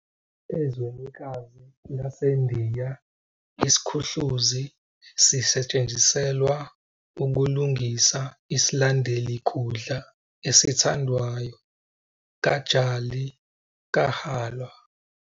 Ezwenikazi laseNdiya, isikhuhluzi sisetshenziselwa ukulungisa isilandeli kudla esithandwayo, Gajali KaHalwa.